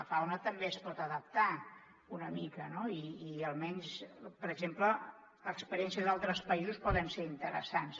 la fauna també es pot adaptar una mica no i almenys per exemple experiències d’altres països poden ser interessants